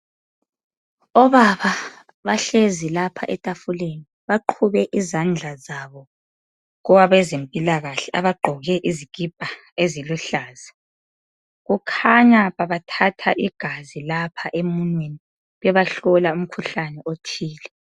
Obaba bahlezi lapha etafuleni baqhube izandla zabo kwabezempilakahle abagqoke izikipa ezilihluza. Kukhanya babathatha igazi lapha emunweni bebahlola umkhuhlane othile.